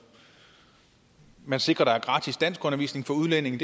man sikrer at der er gratis danskundervisning for udlændinge